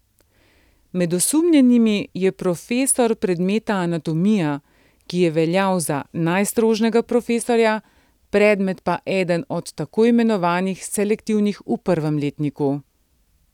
Med osumljenimi je profesor predmeta anatomija, ki je veljal za najstrožjega profesorja, predmet pa eden od tako imenovanih selektivnih v prvem letniku.